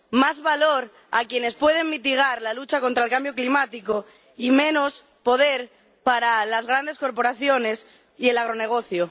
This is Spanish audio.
Más valor a quienes pueden mitigar la lucha contra el cambio climático y menos poder para las grandes corporaciones y el agronegocio.